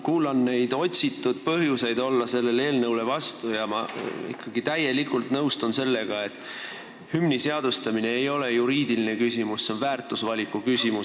Kuulan neid otsitud põhjuseid, et olla vastu sellele eelnõule, ja ma ikkagi nõustun täielikult sellega, et hümni seadustamine ei ole juriidiline küsimus – see on väärtusvaliku küsimus.